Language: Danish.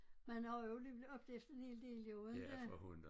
Man har også jo alligevel oplevet en hel del jo inte